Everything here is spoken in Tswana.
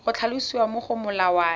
go tlhalosiwa mo go molawana